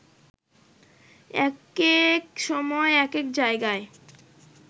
একেক সময় একেক জায়গায়